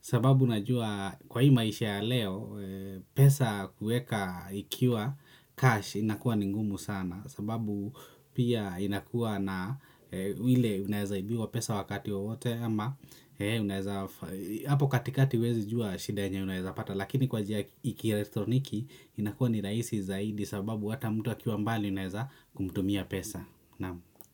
sababu najua kwa hii maisha ya leo pesa kuweka ikiwa cash inakuwa ni ngumu sana sababu pia inakua na ile unaezaibiwa pesa wakati wowote ama hapo katikati huwezi jua shida yenye unaezapata lakini kwa njia ya kielektroniki inakuwa ni rahisi zaidi sababu hata mtu akiwa mbali unaeza kumtumia pesa.